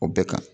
O bɛɛ kan